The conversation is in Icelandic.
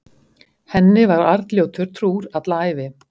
Henni var Arnljótur trúr alla ævi.